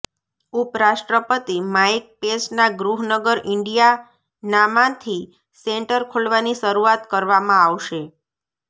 ઉપરાષ્ટ્રપતિ માઇક પેંસના ગૃહ નગર ઇન્ડિયાનામાંથી સેન્ટર ખોલવાની શરૂઆત કરવામાં આવશે